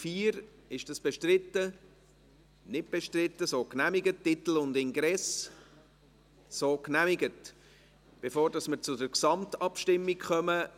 Gibt es noch Wortmeldungen, bevor wir zur Gesamtabstimmung kommen?